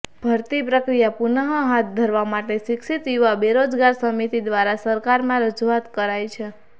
ભરતી પ્રક્રિયા પુનઃ હાથ ધરવા માટે શિક્ષત યુવા બેરોજગાર સમિતી દ્વારા સરકારમાં રજૂઆત કરાઈ છે